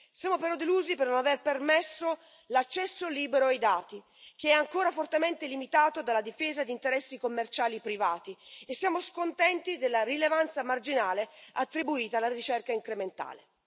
Siamo però delusi per non avere permesso l'accesso libero ai dati che è ancora fortemente limitato dalla difesa di interessi commerciali privati e siamo scontenti della rilevanza marginale attribuita alla ricerca incrementale.